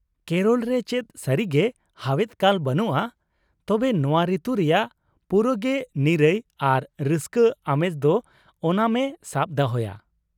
ᱠᱮᱨᱚᱞ ᱨᱮ ᱪᱮᱫ ᱥᱟᱹᱨᱤᱜᱮ ᱦᱟᱣᱮᱫ ᱠᱟᱞ ᱵᱟᱱᱩᱜᱼᱟ, ᱛᱚᱵᱮ ᱱᱚᱶᱟ ᱨᱤᱛᱩ ᱨᱮᱭᱟᱜ ᱯᱩᱨᱟᱹᱜᱮ ᱱᱤᱨᱟᱹᱭ ᱟᱨ ᱨᱟᱹᱥᱠᱟᱹ ᱟᱢᱮᱡ ᱫᱚ ᱳᱱᱟᱢᱮ ᱥᱟᱵ ᱫᱚᱦᱚᱭᱟ ᱾